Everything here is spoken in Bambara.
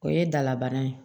O ye dalabana ye